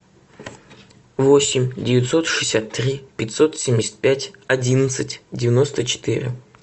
восемь девятьсот шестьдесят три пятьсот семьдесят пять одиннадцать девяносто четыре